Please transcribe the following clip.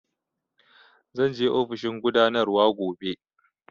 Zan je ofishin gudanarwa gobe